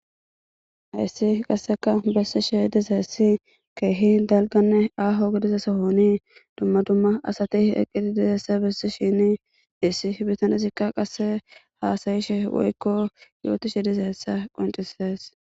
Heyssi qasseka bessi she dizeessi keehi dalganne aho gediza sohoni dumma dumma asati eqqidi dizeesse bessi shini issi bitanesikka qasse haasayishe woykko yooti shi dizeessa qoncises.